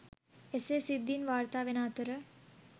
එසේ සිද්ධීන් වාර්තා වෙන අතර